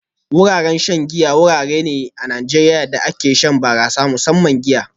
Wuraren shan giya wurare ne a Najeriya inda ake shan barasa, musamman giya